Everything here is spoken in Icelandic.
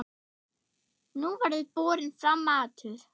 Nú verður borinn fram matur.